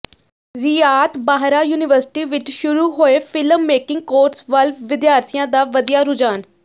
ਰਿਆਤ Bahra university ਵਿੱਚ ਸ਼ੁਰੂ ਹੋਏ ਫਿਲਮ ਮੇਕਿੰਗ ਕੋਰਸ ਵੱਲ ਵਿਦਿਆਰਥੀਆਂ ਦਾ ਵਧਿਆ ਰੁਝਾਨ